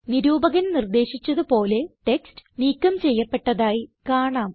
നിരൂപകൻ നിർദ്ദേശിച്ചത് പോലെ ടെക്സ്റ്റ് നീക്കം ചെയ്യപ്പെട്ടതായി കാണാം